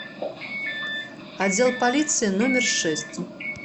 отдел полиции номер шесть